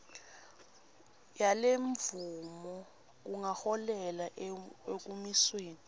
yalemvumo kungaholela ekumisweni